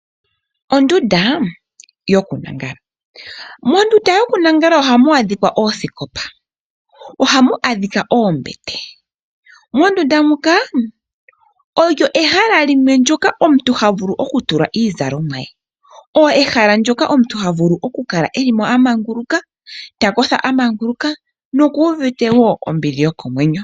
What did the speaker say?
Ondunda yokulala. Mondunda yokulala ohamu adhika oosikopa nohamu adhika oombete. Mondunda muka olyo ehala limwe ndyoka omuntu havulu okutula mo iizalomwa ye. Ehala ndyoka omuntu ha vulu oku kala eli mo amanguluka, ta kotha amanguluka nokuuvite ombili yokomwenyo.